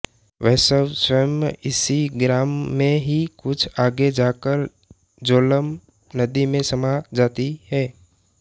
वेशव स्वयं इसी ग्राम में ही कुछ आगे जाकर झेलम नदी में समा जाती है